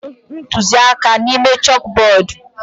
Edere ntuziaka a n'ime chọkbọọdu.